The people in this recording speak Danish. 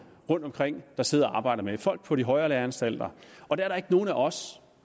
rundtomkring der sidder og arbejder med folk på de højere læreanstalter og der er ikke nogen af os